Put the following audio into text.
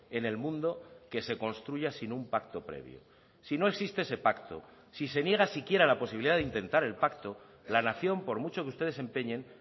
en el mundo que se construya sin un pacto previo si no existe ese pacto si se niega siquiera la posibilidad de intentar el pacto la nación por mucho que ustedes se empeñen